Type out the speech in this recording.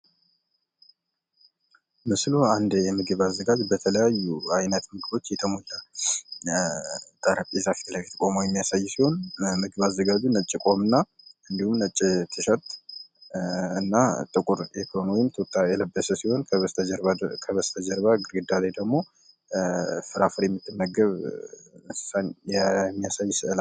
በስእሉ አንድ የምግብ አዘጋጂ በተለያዩ የምግብ አይነቶች የተሞሉ ጠረጴዛዎች ፊት ለፊት ቁሞ የሚያሳይ ሲሆን ምግብ አዘጋጂ ነጭ ቆብ እና እንዲሁም ነጭ ቲሸርት እና ጥቁር ቱታ የለበሰ ሲሆን ከበስተጀርባ ደግሞ ፍራፍሬ የምትመገብ እንስሳን የሚያሳይ ስእል ነው።